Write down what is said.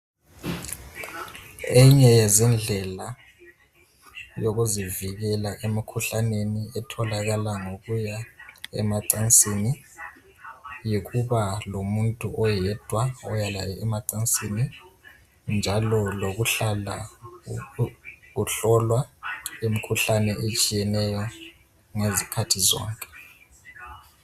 Eyinye yezindlela yokuzivikela emkhuhlaneni etholakala ngokuya emacansini yikuba lomuntu oyedwa olala laye, njalo lokuhlala uhlolwa imkhuhlane etshiyeneyo ngezikhathi zonke.